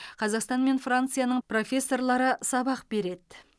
қазақстан мен францияның профессорлары сабақ береді